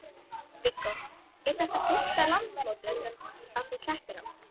Viggó: Er þetta fyrsta landsmótið sem að þú keppir á?